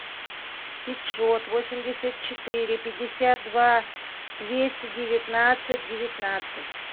пятьсот восемьдесят четыре пятьдесят два двести девятнадцать девятнадцать